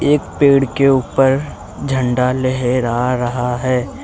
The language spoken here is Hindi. एक पेड़ के ऊपर झंडा लहेरा रहा है।